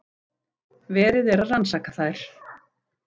Verið er að rannsaka þær